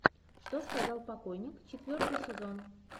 что сказал покойник четвертый сезон